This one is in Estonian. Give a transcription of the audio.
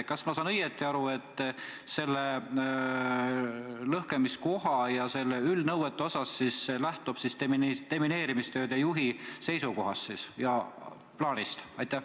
Kas ma saan õigesti aru, et lõhkamiskoha ja selle üldnõuete puhul lähtutakse demineerimistööde juhi seisukohast ja plaanist?